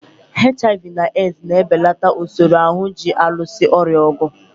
HIV na AIDS na-ebelata usoro ahụ ji alụso ọrịa ọgụ.